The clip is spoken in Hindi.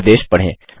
निर्देश पढ़ें